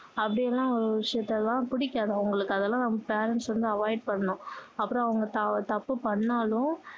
அப்படி எல்லாம் ஒரு விஷயத்தெல்லாம் பிடிக்காது அவங்களுக்கு அதெல்லாம் வந்து parents வந்து avoid பண்ணணும் அப்பறோம் அவங்க தப்பு பண்ணாலும்